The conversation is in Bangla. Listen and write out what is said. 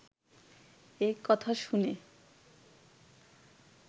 এ কথা শুনে